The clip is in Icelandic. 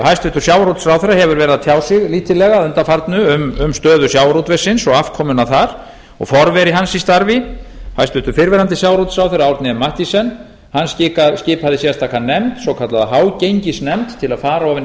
hæstvirtur sjávarútvegsráðherra hefur verið að tjá sig lítillega að undanförnu um stöðu sjávarútvegsins og afkomuna þar og forveri hans í starfi hæstvirtur fyrrverandi sjávarútvegsráðherra árni m mathiesen skipaði sérstaka nefnd svokallaða hágengisnefnd til að fara ofan í